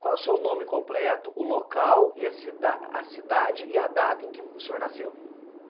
Qual o seu nome completo, o local, e a cida a cidade e a data em que o senhor nasceu?